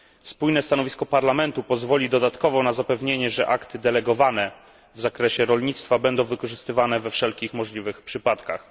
Spójne stanowisko Parlamentu pozwoli dodatkowo na zapewnienie, że akty delegowane w zakresie rolnictwa będą wykorzystywane we wszelkich możliwych przypadkach.